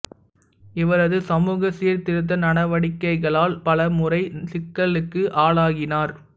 இவரது சமூக சீர்திருத்த நடவடிக்கைகளால் பல முறை சிக்களுக்கு ஆளாகினார்